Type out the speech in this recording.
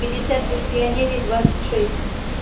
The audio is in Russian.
пятьдесят лет пионерии двадцать шесть